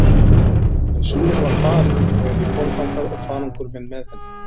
En Súðin var farin þegar ég kom þangað og farangur minn með henni.